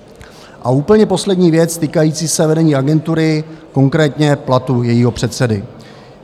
A úplně poslední věc, týkající se vedení agentury, konkrétně platu jejího předsedy.